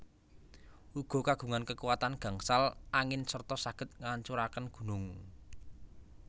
Uga kagungan kekuatan gangsal angin serta saged ngancuraken gunung